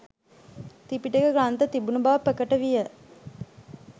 ත්‍රිපිටක ග්‍රන්ථ තිබුණු බව ප්‍රකට විය